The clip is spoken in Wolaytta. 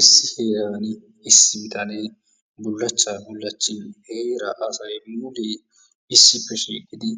Issi heeran issi bitaanee bullachchaa bullachchin heera asay mulee issippe shiiqidi